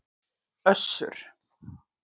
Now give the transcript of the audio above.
Össur